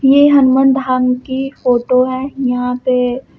ये हनुमान धाम की फोटो है यहां पे--